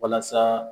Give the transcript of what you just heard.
Walasa